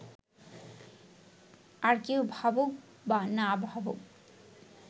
আর কেউ ভাবুক বা না ভাবুক